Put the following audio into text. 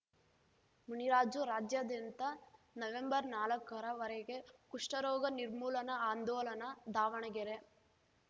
ಮುನಿರಾಜು ರಾಜ್ಯಾದ್ಯಂತ ನವೆಂಬರ್ನಾಲಕ್ಕರ ವರೆಗೆ ಕುಷ್ಠರೋಗ ನಿರ್ಮೂಲನಾ ಆಂದೋಲನ ದಾವಣಗೆರೆ